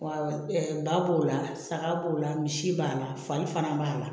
Wa ba b'o la saga b'o la misi b'a la fari fana b'a la